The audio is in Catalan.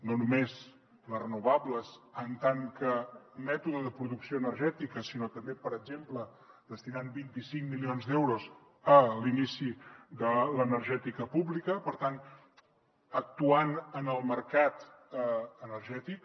no només les renovables en tant que mètode de producció energètica sinó també per exemple destinant vint cinc milions d’euros a l’inici de l’energètica pública per tant actuant en el mercat energètic